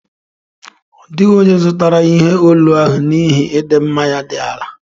Ọ dịghị onye zụtara ihe olu ahụ n'ihi ịdị mma ya dị ala